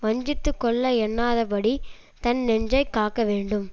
வஞ்சித்துக்கொள்ள எண்ணாதபடி தன் நெஞ்சைக் காக்க வேண்டும்